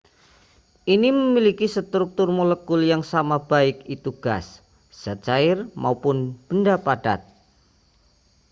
ini memiliki struktur molekul yang sama baik itu gas zat cair maupun benda padat